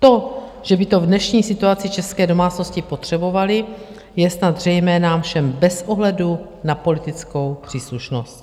To, že by to v dnešní situaci české domácnosti potřebovaly, je snad zřejmé nám všem bez ohledu na politickou příslušnost.